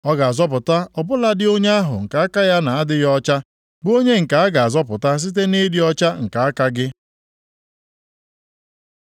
Ọ ga-azọpụta ọ bụladị onye ahụ nke aka ya na-adịghị ọcha, bụ onye nke a ga-azọpụta site nʼịdị ọcha nke aka gị.”